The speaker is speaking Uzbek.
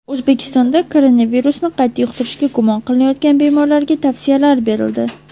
O‘zbekistonda koronavirusni qayta yuqtirishda gumon qilinayotgan bemorlarga tavsiyalar berildi.